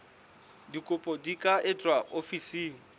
dikopo di ka etswa ofising